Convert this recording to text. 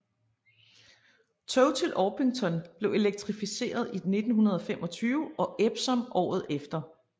Tog til Orpington blev elektrificeret i 1925 og Epsom året efter